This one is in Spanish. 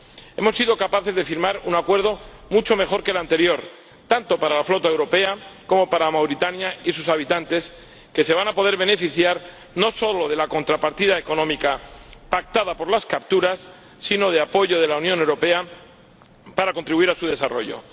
Hemos sido capaces de firmar un Acuerdo mucho mejor que el anterior, tanto para la flota europea como para Mauritania y sus habitantes, que se van a poder beneficiar no solo de la contrapartida económica pactada por las capturas, sino de apoyo de la Unión Europea para contribuir a su desarrollo.